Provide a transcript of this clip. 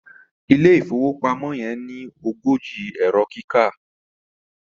ilé ìfowópamọ́ yen ní ogójì Ẹ̀rọ kíkà